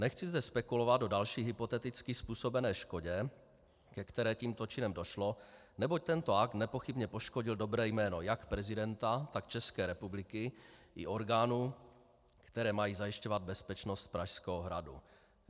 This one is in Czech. Nechci zde spekulovat o další hypoteticky způsobené škodě, ke které tímto činem došlo, neboť tento akt nepochybně poškodil dobré jméno jak prezidenta, tak České republiky i orgánů, které mají zajišťovat bezpečnost Pražského hradu.